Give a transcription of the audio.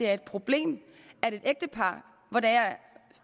er et problem med ægtepar